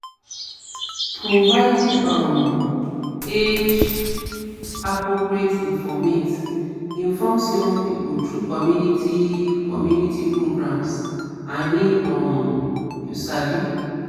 providing um age-appropriate informate informs young pipo through community community programs i mean um um you sabi